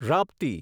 Rapti